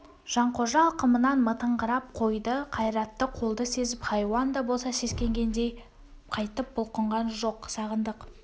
жанқожа алқымынан мытыңқырап қойды қайратты қолды сезіп хайуан да болса сескенгендей қайтып бұлқынған жоқ сағындық